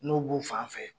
N'u b'u fan fɛ